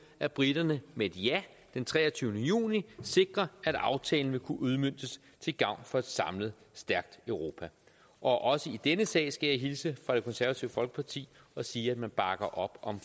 at briterne med et ja den treogtyvende juni sikrer at aftalen vil kunne udmøntes til gavn for et samlet stærkt europa også i denne sag skal jeg hilse fra det konservative folkeparti og sige at de bakker op om